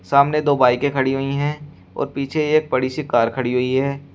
सामने दो बाइके खड़ी हुई है और पीछे एक बड़ी सी कार खड़ी हुई है।